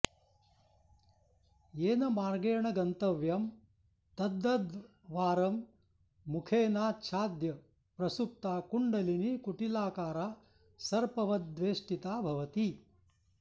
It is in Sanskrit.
येन मार्गेण गन्तव्यं तद्द्वारं मुखेनाच्छाद्य प्रसुप्ता कुण्डलिनी कुटिलाकारा सर्पवद्वेष्टिता भवति